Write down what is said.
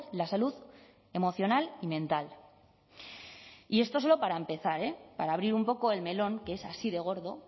la salud emocional y mental y esto solo para empezar eh para abrir un poco el melón que es así de gordo